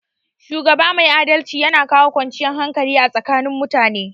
Shugaba mai adalci yana kawo kwanciyar hakali a tsakanin mutane